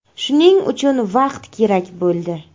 Shuning uchun vaqt kerak bo‘ldi.